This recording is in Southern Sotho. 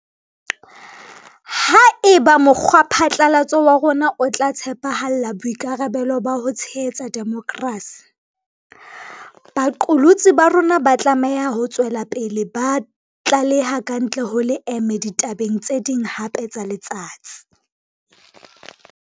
Haeba mokgwaphatlalatso wa rona o tla tshepahalla boikarabelo ba ho tshehetsa demokrasi, baqolotsi ba rona ba tlameha ho tswela pele ba tlaleha kantle ho leeme ditabeng tse ding hape tsa letsatsi.